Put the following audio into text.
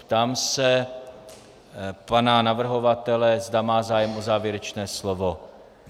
Ptám se pana navrhovatele, zda má zájem o závěrečné slovo.